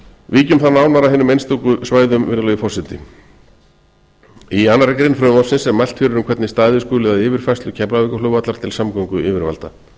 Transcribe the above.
nánar að hinum einstöku svæðum virðulegi forseti í annarri grein frumvarpsins er mælt fyrir um hvernig staðið skuli að yfirfærslu keflavíkurflugvallar til samgönguyfirvalda